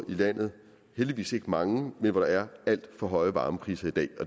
i landet heldigvis ikke mange hvor der er alt for høje varmepriser i dag